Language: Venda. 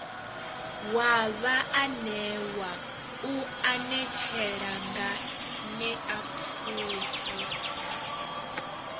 wa vhaanewa u anetshela nganeapfhufhi